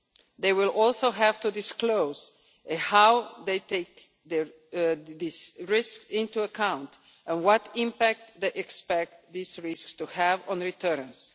They will also have to disclose how they take this risk into account and what impact they expect these risks to have on returns.